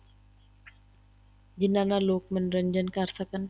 ਜਿਹਨਾ ਨਾਲ ਲੋਕ ਮੰਨੋਰੰਜਨ ਕਰ ਸਕਣ